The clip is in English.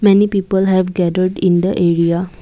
many people have gathered in the area.